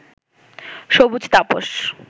সবুজ তাপস